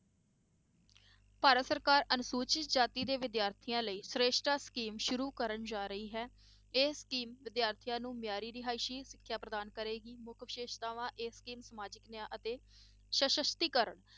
ਭਾਰਤ ਸਰਕਾਰ ਅਨੁਸੂਚਿਤ ਜਾਤੀ ਦੇ ਵਿਦਿਆਰਥੀਆਂ ਲਈ ਸ੍ਰੇਸ਼ਟਾ scheme ਸ਼ੁਰੂ ਕਰਨ ਜਾ ਰਹੀ ਹੈ, ਇਹ scheme ਵਿਦਿਆਰਥੀਆਂ ਨੂੰ ਮਿਆਰੀ ਰਿਹਾਇਸ ਸਿੱਖਿਆ ਪ੍ਰਦਾਨ ਕਰੇਗੀ, ਮੁੱਖ ਵਿਸ਼ੇਸ਼ਤਾਵਾਂ ਇਹ scheme ਸਮਾਜਿਕ ਨਿਆਂ ਅਤੇ ਸਸ਼ਤੀਕਰਨ,